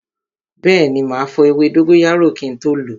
Bẹẹni, ma fọ ewé dóngóyárò kin tó lo